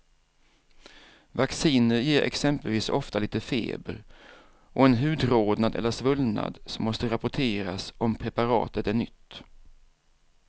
Vacciner ger exempelvis ofta lite feber och en hudrodnad eller svullnad som måste rapporteras om preparatet är nytt.